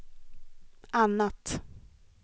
annat